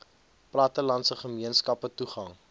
plattelandse gemeenskappe toegang